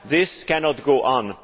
This cannot go on.